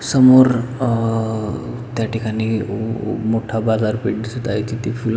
समोर अ त्या ठिकाणी उ मोठा बाजार पेठ दिसत आहे तेथे फुलां--